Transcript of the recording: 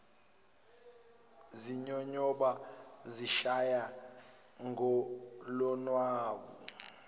zinyonyoba zishaya ngolonwabu